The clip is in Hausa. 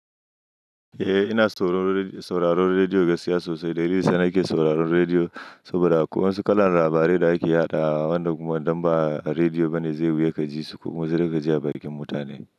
Eh ina sauraron rediyo gaskiya sosai, dalilin daya sa nake sauraron rediyo saboda akwai waƴansu kalar labarai da ake yaɗawa wanda kuma idan ba rediyo bane zai yi wuya ka ji su ko kuma sai dai kaji a bakin mutane.